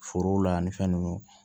Forow la ani fɛn nunnu